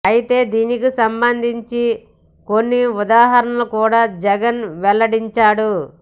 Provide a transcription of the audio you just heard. అయితే దీనికి సంబంధించి కొన్ని ఉదాహరణలు కూడా జగన్ వెల్లడించాడు